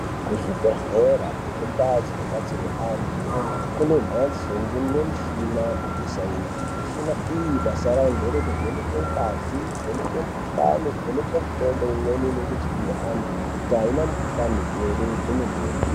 Kuzvibhedhlera nekundau dzinobatsirwe antu kune mhatso ingenemishina yeSainzi. Mishina iyi basa rayo ngerekuvheneke ngazi, kuvheneke mikuhlani, kuvheneke mitombo imweni inenge ichipuwe antu kuti haina mukuhlani here kwemene.